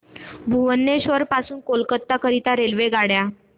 भुवनेश्वर पासून कोलकाता करीता रेल्वेगाड्या